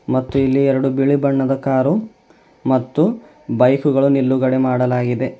ಮತ್ತು ಇಲ್ಲಿ ಎರಡು ಬಿಳಿ ಬಣ್ಣದ ಕಾರು ಮತ್ತು ಬೈಕು ಗಳು ನಿಲುಗಡೆ ಮಾಡಲಾಗಿದೆ.